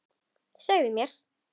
Segðu mér.